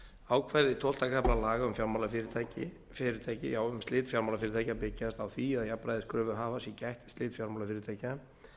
ákvæði tólfta kafla laga um fjármálafyrirtæki um slit fjármálafyrirtækja byggjast á því að jafnræðis kröfuhafa sé gætt við slit fjármálafyrirtækja